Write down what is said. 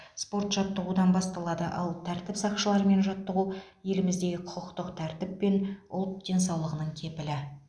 спорт жаттығудан басталады ал тәртіп сақшыларымен жаттығу еліміздегі құқықтық тәртіп пен ұлт денсаулығының кепілі